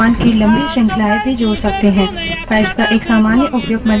pipes का एक सामान्य उपयोग multipage displays प्रदर्शन पढ़ने के लिए किया जाता है